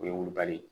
O ye wolobali ye